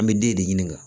An bɛ den de ɲininka